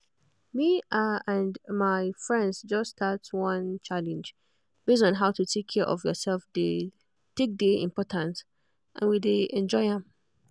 me ah and my friends just start one challenge base on how to take care of yourself take dey important and we dey enjoy am